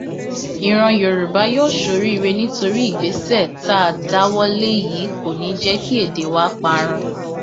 ìran yorùbá yóò soríire nítorí ìgbésẹ tá a dáwọ lé yìí kò ní í jẹ kí èdè wa parun